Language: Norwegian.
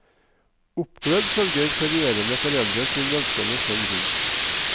Oppglødd følger ferierende foreldre sin velstående sønn rundt.